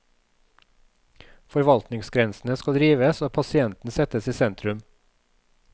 Forvaltningsgrensene skal rives og pasienten settes i sentrum.